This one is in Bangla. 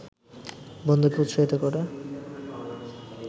বন্ধুকে উৎসাহিত করে